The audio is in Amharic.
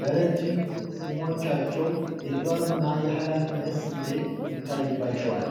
በረጅም ፂሞቻቸው የጥበብና የሀላፊነት ስሜት ይታይባቸዋል።